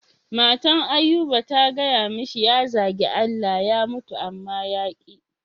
Matan Ayuba ta gaya mishi ya zage Allah ya mutu amma ya ƙi.